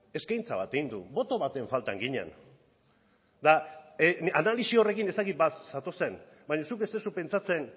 eskaintza bat egin du boto baten falta ginen eta analisi horrekin ez dakit bat zatozen baina zuk ez duzu pentsatzen